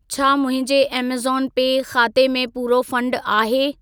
छा मुंहिंजे ऐमज़ॉन पे ख़ाते में पूरो फंड आहे?